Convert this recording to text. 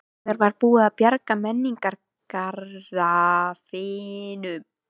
Þegar var búið að bjarga menningararfinum.